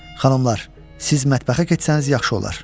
Xanımlar, siz mətbəxə keçsəniz yaxşı olar.